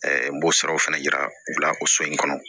n b'o saraw fana yira u la o so in kɔnɔ